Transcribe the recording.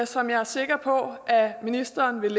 som jeg er sikker på at ministeren vil